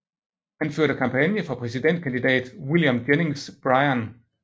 Han førte kampagne for præsidentkandidat William Jennings Bryan